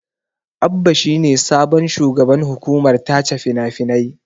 Abba is the new managing director, film censorship board.